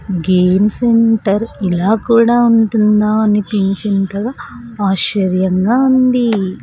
Game centre ఇలా కూడా ఉంటుందా అనిపించేంతంగా ఆశ్చర్యంగా ఉంది.